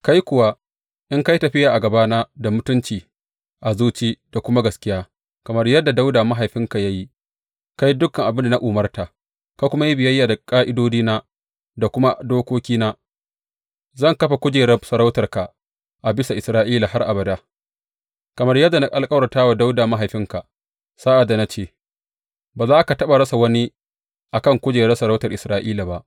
Kai kuwa, in ka yi tafiya a gabana da mutunci a zuci da kuma gaskiya, kamar yadda Dawuda mahaifinka ya yi, ka yi dukan abin da na umarta, ka kuma yi biyayya da ƙa’idodina da kuma dokokina, zan kafa kujerar sarautarka a bisa Isra’ila har abada, kamar yadda na alkawarta wa Dawuda mahaifinka sa’ad da na ce, Ba za ka taɓa rasa wani a kan kujerar sarautar Isra’ila ba.’